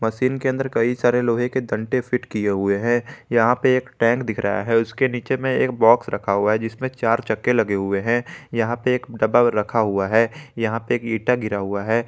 Machine के अंदर कई सारे लोहे के तंटे फिट किए हुए हैं यहां पर एक टैंक दिख रहा है उसके नीचे में एक बॉक्स रखा हुआ है जिसमें चार चक्के लगे हुए हैं यहां पे एक डब्बा रखा हुआ है यहां पे एक इंटा गिरा हुआ है।